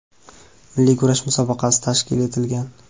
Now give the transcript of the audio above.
milliy kurash musobaqasi tashkil etilgan.